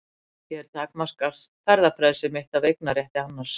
Hér takmarkast ferðafrelsi mitt af eignarétti annars.